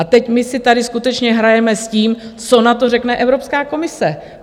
A teď my si tady skutečně hrajeme s tím, co na to řekne Evropská komise.